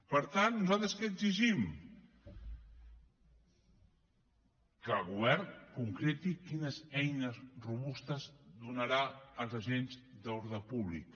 per tant nosaltres què exigim que el govern concreti quines eines robustes donarà als agents d’ordre públic